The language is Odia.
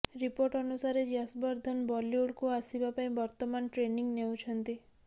ରିପୋର୍ଟ ଅନୁସାରେ ୟଶବର୍ଦ୍ଧନ୍ ବଲିଉଡ୍କୁ ଆସିବା ପାଇଁ ବର୍ତ୍ତମାନ ଟ୍ରେନିଂ ନେଉଛନ୍ତି